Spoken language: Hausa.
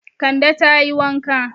Kande ta yi wanka.